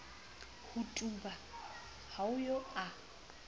ho tuba ha eo a